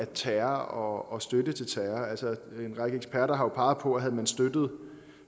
terror og støtte til terror en række eksperter har peget på at havde man støttet